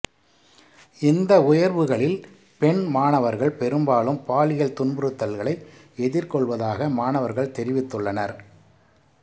இந்த உயர்வுகளில் பெண் மாணவர்கள் பெரும்பாலும் பாலியல் துன்புறுத்தல்களை எதிர்கொள்வதாக மாணவர்கள் தெரிவித்துள்ளனர்